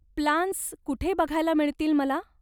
Plans कुठे बघायला मिळतील मला.